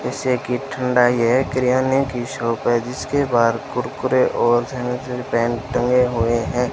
ऐसे की ठंडाई है किराने की शॉप है जिसके बाहर कुरकुरे और पेन टगें हुए हैं।